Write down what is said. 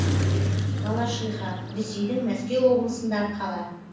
балашиха ресейдің мәскеу облысындағы қала